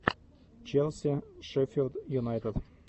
челси шеффилд юнайтед